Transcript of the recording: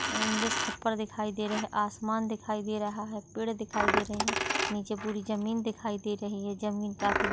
English खप्पर दिखाई दे रहे है आसमान दिखाई दे रहा है पेड़ दिखाई दे रहे है निचे पूरी जमीन दिखाई दे रही है जमीन काफी--